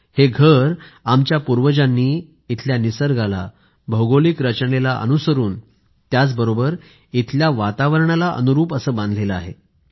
हे घर आमच्या पूर्वजांनी इथल्या निसर्गालाभौगोलिक रचनेला अनुसरून त्याचबरोबर इथल्या वातावरणाला अनुरूप बांधलं आहे